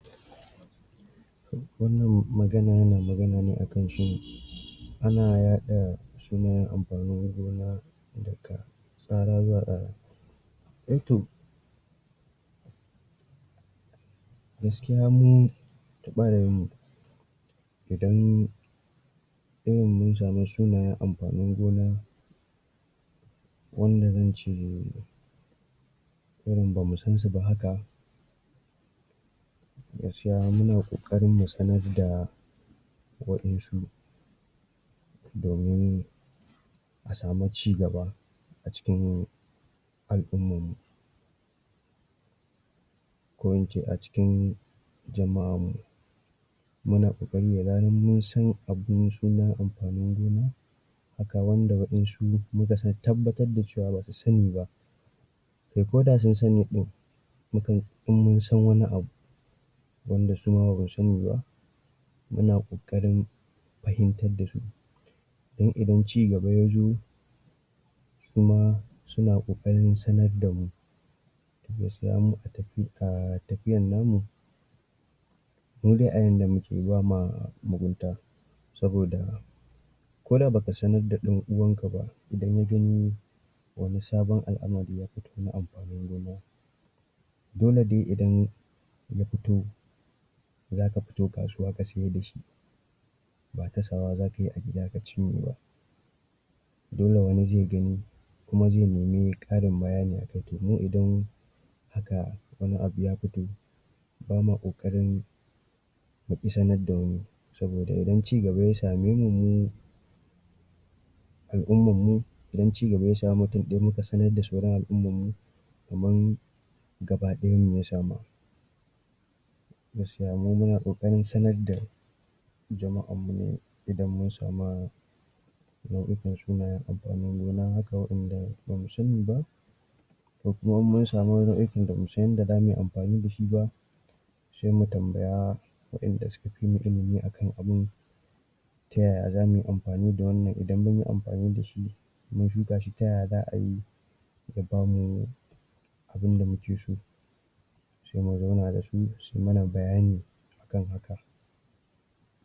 wannn magana yana magana ne akan shin ana yada shima amfanin gona daga tsara zuwa tsara aito gaskiya mu barayin mu idan irin mun sami sunayan amfanin gona wanda an cire irin ba mu sansu ba haka gaskiya muna kokarin mu sanar da wa 'yan su domin a samu cigaba a cikin aykin mu ko ince a cikin jama'ar mu muna bukatan da zarar munsan abun sunan amfanin gona a kwai wanda wa'yan su muka tabbatar da cewa ba su sani ba kai koda sun sani din mukan in mun san wani bu wanda suma ba su sani ba muna kokarin fahimtar da su in idan cigaba ya zo kuma suna kokarin sanar da mu gaskiya alal hakika tafiyar namu indai a yadda muke ba ma mugunta saboda koda baka sanar da dan'uwan kaba idan ya gani wani sabon al'amari ya fita na amfanin gona dole dai idan ya fito za ka fito kasuwa ka sayar da shi ba kasawa za kayi a gida ka cinye ba dole wani zai gani kuma zai nemi karin bayani akai, mu idan aka sabon abu ya fito bama kokarin na kusa da mu sabodaa idan cigaba ya samaimu mu al'ummar mu idan cigaba ya samu mutun daya muka sanar da sauran al'ummar mu kaman gaba dayan mu ya sama jgaskiya mu muna kokarin sanar da jama ar mu idan mun samu in mun sama amfanin gona haka wanda ba asani ba komuma in mun samu wasu nau'ikan ba musan yadda za mu yi amfani da shi ba sai mu tambaya wanda suka fimu ilimi a kan abun ta yaya za muyi amfani da wannan idan munyi amfani da shi in mun duba shi ta yaya za ayi ya bamu abin da muke so sai mu zauna da su siy mana bayani a kan haka